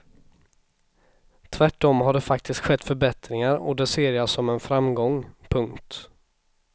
Tvärt om har det faktiskt skett förbättringar och det ser jag som en framgång. punkt